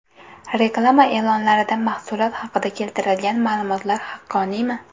Reklama e’lonlarida mahsulot haqida keltirilgan ma’lumotlar haqqoniymi?